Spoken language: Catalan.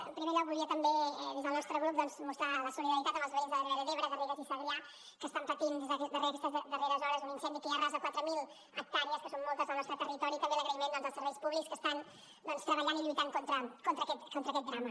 en primer lloc volia també des del nostre grup doncs mostrar la solidaritat amb els veïns de la ribera d’ebre garrigues i segrià que estan patint aquestes darreres hores un incendi que ja arrasa quatre mil hectàrees que són moltes del nostre territori i també l’agraïment als serveis públics que estan treballant i lluitant contra aquest drama